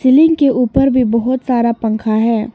Ceiling के ऊपर भी बहुत सारा पंखा हैं।